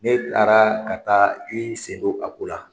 Ne taara ka taa i sen do a ko la.